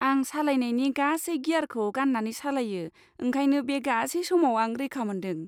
आं सालायनायनि गासै गियारखौ गान्नानै सालायो, ओंखायनो बे गासै समाव आं रैखा मोनदों।